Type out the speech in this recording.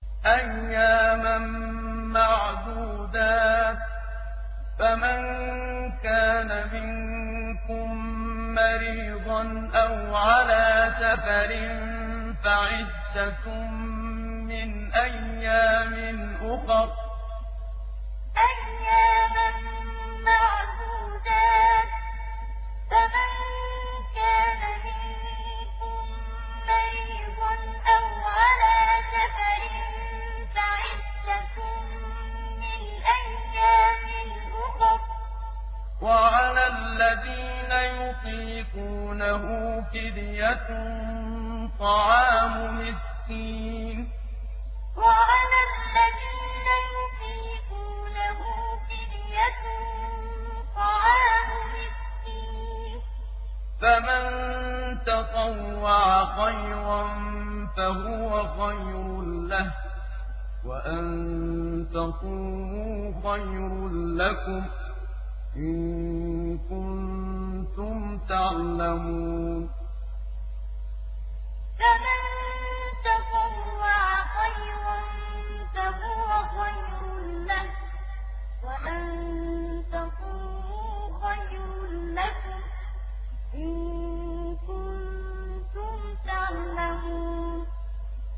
أَيَّامًا مَّعْدُودَاتٍ ۚ فَمَن كَانَ مِنكُم مَّرِيضًا أَوْ عَلَىٰ سَفَرٍ فَعِدَّةٌ مِّنْ أَيَّامٍ أُخَرَ ۚ وَعَلَى الَّذِينَ يُطِيقُونَهُ فِدْيَةٌ طَعَامُ مِسْكِينٍ ۖ فَمَن تَطَوَّعَ خَيْرًا فَهُوَ خَيْرٌ لَّهُ ۚ وَأَن تَصُومُوا خَيْرٌ لَّكُمْ ۖ إِن كُنتُمْ تَعْلَمُونَ أَيَّامًا مَّعْدُودَاتٍ ۚ فَمَن كَانَ مِنكُم مَّرِيضًا أَوْ عَلَىٰ سَفَرٍ فَعِدَّةٌ مِّنْ أَيَّامٍ أُخَرَ ۚ وَعَلَى الَّذِينَ يُطِيقُونَهُ فِدْيَةٌ طَعَامُ مِسْكِينٍ ۖ فَمَن تَطَوَّعَ خَيْرًا فَهُوَ خَيْرٌ لَّهُ ۚ وَأَن تَصُومُوا خَيْرٌ لَّكُمْ ۖ إِن كُنتُمْ تَعْلَمُونَ